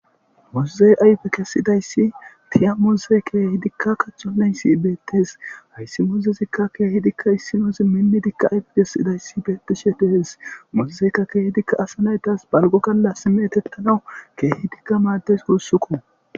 Muzozey ayfe kessidayssi tiya mooze keehi dikka kacho leynsi beettes hayssi mozezikka keehi dikka issinoozi minni dikka ayfe kessidayssi beettishe dehes muzozeykka keehi dikka asa naytas balgo galla si meetettanawu keehi dikka maaddes guussuku.